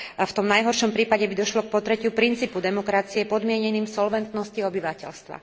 V tom najhoršom prípade by došlo k potretiu princípu demokracie podmienením solventnosťou obyvateľstva.